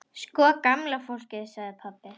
Sko gamla fólkið sagði pabbi.